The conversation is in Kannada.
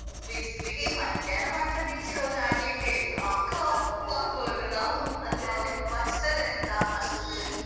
ಬಿಸ್ಲಿಗೆ ಮಧ್ಯಾಹ್ನ ಮಾತ್ರ beach ಗೆ ಹೋದ್ರೆ ಆಗ್ಲಿಕ್ಕೆ ಇಲ್ಲ. ಕಪ್ಪಾಗ್ಬೋದು ನಾವು. ಅಂದ್ರೆ ಬಚ್ತದೆ ಅಂತ ಅಸ್ಟೊತ್ತಿಗೆ ಹೋಗಿ.